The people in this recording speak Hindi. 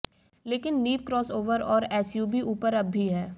लेकिन नींव क्रॉसओवर और एसयूवी ऊपर अब भी है